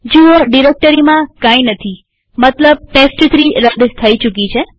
જુઓડિરેક્ટરીમાં કઈ નથીમતલબ ટેસ્ટ3 રદ થઇ ચુકી છે